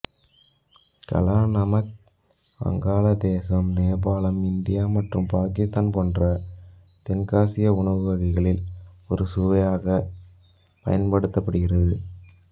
காலா நமக் வங்காள தேசம்நேபாளம் இந்தியா மற்றும் பாக்கித்தான் போன்ற தெற்காசிய உணவு வகைகளில் ஒரு சுவையாக பயன்படுத்தப்படுகிறது